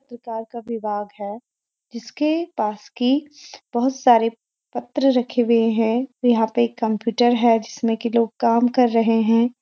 विभाग है जिसके पास कि बहुत सारे पत्र रखे हुए है यहाँ पे एक कम्‍प्‍यूटर है जिसमें कि लोग काम कर रहे हैं।